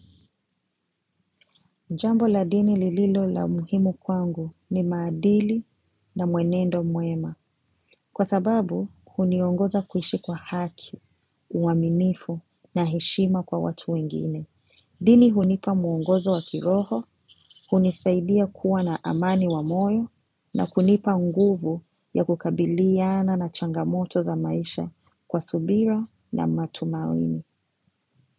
Jambo la dini lililo la muhimu kwangu ni maadili na mwenendo muema. Kwa sababu, huni ongoza kuishi kwa haki, uaminifu na heshima kwa watu wengine. Dini hunipa muongozo wa kiroho, hunisaidia kuwa na amani wa moyo na kunipa nguvu ya kukabiliyana na changamoto za maisha kwa subira na matumawini.